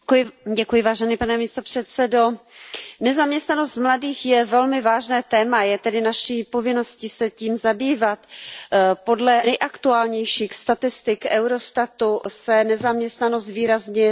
Pane předsedající, nezaměstnanost mladých je velmi vážné téma, je tedy naší povinností se tím zabývat. Podle nejaktuálnějších statistik Eurostatu se nezaměstnanost výrazně snížila.